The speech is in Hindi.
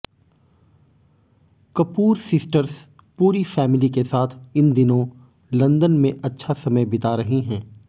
कपूर सिस्टर्स पूरी फैमली के साथ इन दिनों लंदन में अच्छा समय बिता रही हैं